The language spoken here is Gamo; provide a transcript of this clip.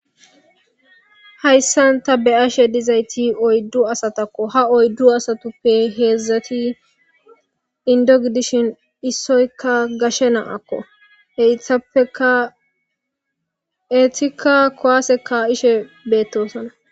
Hayssan ta be7ashe dizayti oyddu asatakko. Ha oyddu asatuppe heedzdzati inddogdishin issoykka gashe naakko ettapekaetika kowaase ka7ishe beettosona.